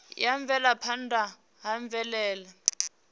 ya u bvelaphanda ha mvelele